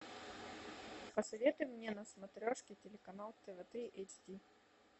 посоветуй мне на смотрешке телеканал тв три эйч ди